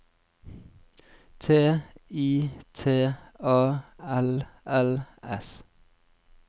T I T A L L S